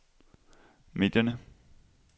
medierne